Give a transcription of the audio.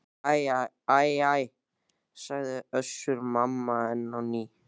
Æ æ æ, sagði Össur-Mamma enn á ný.